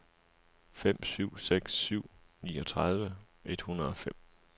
fem syv seks syv niogtredive et hundrede og fem